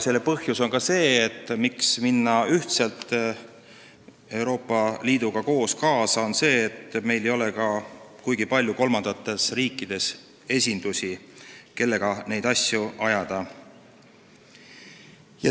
Põhjus, miks minna ühtselt Euroopa Liiduga kaasa, on ka selles, et meil ei ole kolmandates riikides kuigi palju esindusi, kellega neid asju ajada.